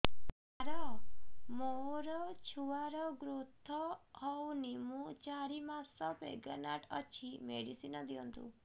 ସାର ମୋର ଛୁଆ ର ଗ୍ରୋଥ ହଉନି ମୁ ଚାରି ମାସ ପ୍ରେଗନାଂଟ ଅଛି ମେଡିସିନ ଦିଅନ୍ତୁ